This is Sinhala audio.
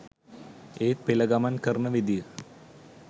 ඒත් පෙළ ගමන් කරන විදිය